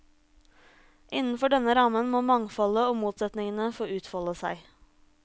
Innenfor denne rammen må mangfoldet og motsetningene få utfolde seg.